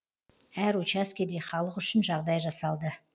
әр учаскеде халық үшін жағдай жасалды